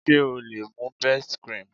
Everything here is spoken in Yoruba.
Ṣé o lè mú best cream?